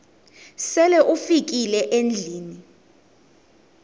sele ufikile endlwini